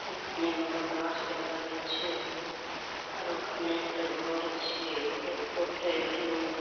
এখানে দমা গাছ দেখা যাচ্ছে আর ওখানে একটা ঘর আছে। ঘরের উপরটায় একটা মৌ --